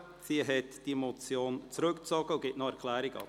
Sie hat diese Motion zurückgezogen und gibt noch eine Erklärung ab.